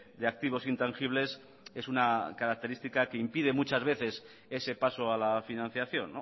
de activos intangibles es una característica que impide muchas veces ese paso a la financiación